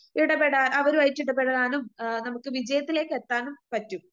ഇടപെടാ അവരുവായിട്ട് ഇടപെടാനും നമുക്ക് വിജയത്തിലേക്കെത്താനും പറ്റും.